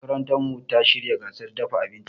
Makarantarmu ta shirya gasar dafa abinci.